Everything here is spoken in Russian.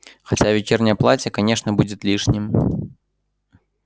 хотя вечернее платье конечно будет лишним